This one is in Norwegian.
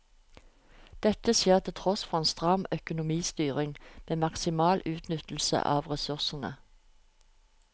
Dette skjer til tross for en stram økonomistyring med maksimal utnyttelse av ressursene.